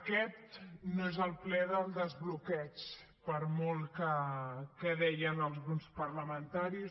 aquest no és el ple del desbloqueig per molt que deien alguns parlamentaris